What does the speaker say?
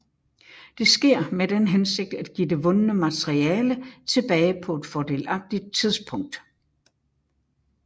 Det sker med den hensigt at give det vundne materiale tilbage på et fordelagtigt tidspunkt